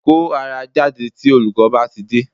Kó ara jáde tí olùkọ́ bá tidé